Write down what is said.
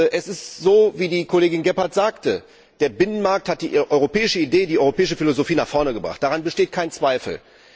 Es ist so, wie die Kollegin Gebhardt sagte Der Binnenmarkt hat die europäische Idee, die europäische Philosophie nach vorne gebracht, daran besteht kein Zweifel.